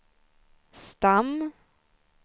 stam